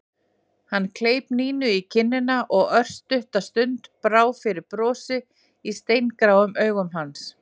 Hann kleip Nínu í kinnina og örstutta stund brá fyrir brosi í steingráum augum hans.